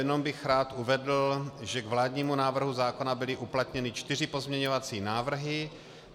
Jenom bych rád uvedl, že k vládnímu návrhu zákona byly uplatněny čtyři pozměňovací návrhy.